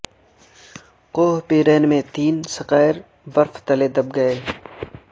کوہ پیرین میں تین سکایئر برف تلے دب گئے